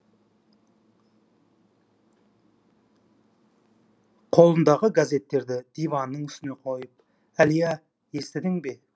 қолындағы газеттерді диванның үстіне қойып әлия естідің бе